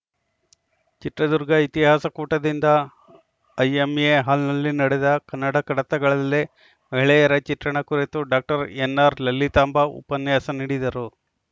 ಚಿತ್ರದುರ್ಗ ಇತಿಹಾಸ ಕೂಟದಿಂದ ಐಎಂಎ ಹಾಲ್‌ನಲ್ಲಿ ನಡೆದ ಕನ್ನಡ ಕಡತಗಳಲ್ಲಿ ಮಹಿಳೆಯರ ಚಿತ್ರಣ ಕುರಿತು ಡಾಕ್ಟರ್ ಎನ್‌ಆರ್‌ ಲಲಿತಾಂಬಾ ಉಪನ್ಯಾಸ ನೀಡಿದರು